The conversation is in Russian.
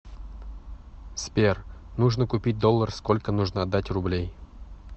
сбер нужно купить доллар сколько нужно отдать рублей